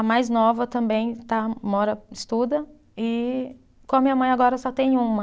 A mais nova também está mora, estuda e com a minha mãe agora só tem uma.